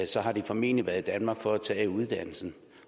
så har de formentlig været i danmark for at tage uddannelsen